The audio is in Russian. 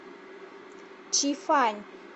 чи фань